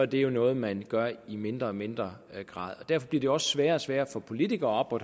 det er noget man gør i mindre og mindre grad og derfor bliver det også sværere og sværere for politikere